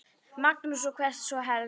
Magnús: Og hvert þá helst?